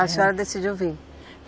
A senhora decidiu vir?